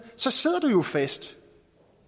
sidder du jo fast